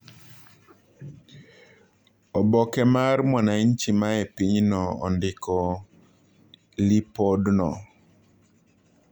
oOboke mar Mwananchi mae pinyno ondiko lipodno